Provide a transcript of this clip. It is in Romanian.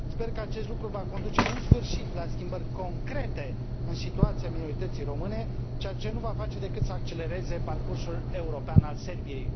Sper că acest lucru va conduce în sfârșit la schimbări concrete în situația minorității române, ceea ce nu va face decât să accelereze parcursul european al Serbiei.